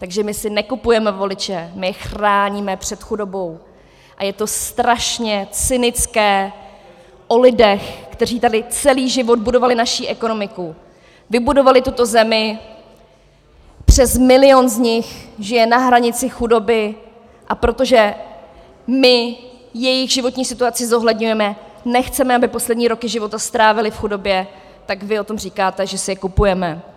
Takže my si nekupujeme voliče, my je chráníme před chudobou a je to strašně cynické o lidech, kteří tady celý život budovali naši ekonomiku, vybudovali tuto zemi, přes milion z nich žije na hranici chudoby, a protože my jejich životní situaci zohledňujeme, nechceme, aby poslední roky života strávili v chudobě, tak vy o tom říkáte, že si je kupujeme.